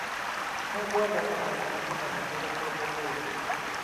Nĩngwenda kũmenya nĩ mũthenya ũrĩkũ umuthi.